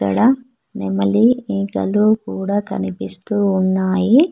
ఇక్కడ నెమలి ఈకలు కూడా కనిపిస్తూ ఉన్నాయి.